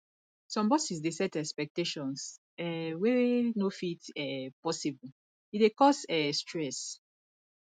some bosses dey set expectations um wey no fit um possible e dey cause um stress